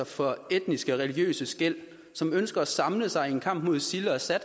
fra etniske og religiøse skel som ønsker at samle sig i en kamp mod isil og assad og